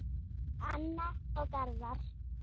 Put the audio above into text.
Anna og Garðar.